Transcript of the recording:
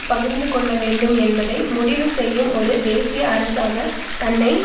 பகிர்ந்துகொள்ள வேண்டும் என்பதை முடிவு செய்யும் ஒரு தேசிய அரசாக தன்னை